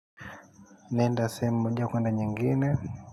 Naenda moja kwenda nyingine.